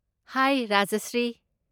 ꯍꯥꯏ Rajshri.